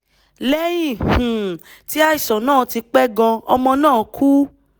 lẹ́yìn um tí àìsàn náà ti pẹ́ gan-an ọmọ náà kú